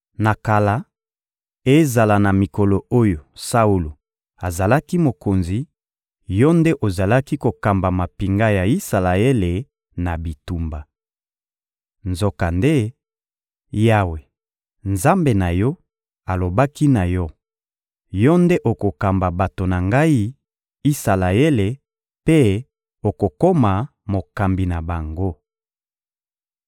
Na kala, ezala na mikolo oyo Saulo azalaki mokonzi, yo nde ozalaki kokamba mampinga ya Isalaele na bitumba. Nzokande, Yawe, Nzambe na yo, alobaki na yo: ‹Yo nde okokamba bato na Ngai, Isalaele, mpe okokoma mokambi na bango.›»